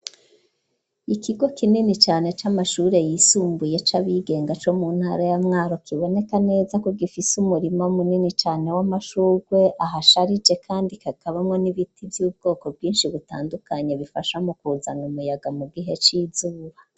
Ikigo kinini cane c'amashure yisumbuye c'abigenga co mu ntara ya Mwaro kiboneka neza ko gifise umurimo munini cane w'amashurwe, ahasharije kandi hakabamwo n'ibiti vy'ubwoko bwinshi butandukanye bifasha mu kuzana umuyaga mu gihe c'izuba.